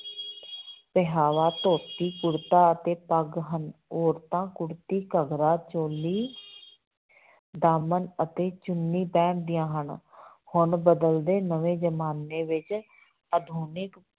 ਪਹਿਰਾਵਾ ਧੋਤੀ ਕੁੜਤਾ ਅਤੇੇ ਪੱਗ ਹਨ, ਔਰਤਾਂ ਕੁੜਤੀ, ਘੱਗਰਾ ਚੋਲੀ ਦਾਮਨ ਅਤੇ ਚੁੰਨੀ ਪਹਿਨਦੀਆਂ ਹਨ ਹੁਣ ਬਦਲਦੇ ਨਵੇਂ ਜਮਾਨੇ ਵਿੱਚ ਆਧੁਨਿਕ